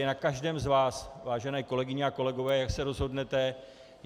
Je na každém z vás, vážené kolegyně a kolegové, jak se rozhodnete.